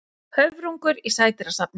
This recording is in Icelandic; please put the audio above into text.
Höfrungur í sædýrasafni.